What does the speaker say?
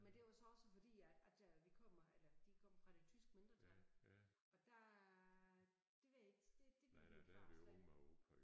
Men det var så også fordi at at vi kommer eller de kom fra det tyske mindretal og der det ved jeg ikke det det ville min far slet ikke